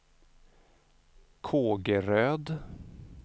Kågeröd